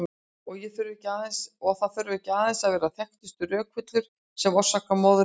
Og það þurfa ekki aðeins að vera þekktustu rökvillurnar sem orsaka moðreykinn.